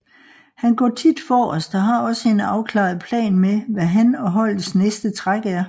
Han går tit forrest og har også en afklaret plan med hvad han og holdets næste træk er